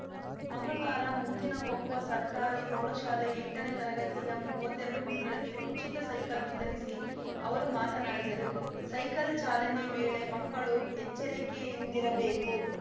ಮಂಗಳ್ವಾರ ಮುತ್ತಿನಕೊಪ್ಪ ಸರ್ಕಾರಿ ಪ್ರೌಢಶಾಲೆ ಎಂಟನೇ ತರಗತಿಯ ಮುವತ್ತೆರಡು ಮಕ್ಕಳಿಗೆ ಉಚಿತ ಸೈಕಲ್‌ ವಿತರಿಸಿ ಅವರು ಮಾತನಾಡಿದರು ಸೈಕಲ್‌ ಚಾಲನೆ ವೇಳೆ ಮಕ್ಕಳು ಎಚ್ಚರಿಕೆಯಿಂದಿರಬೇಕು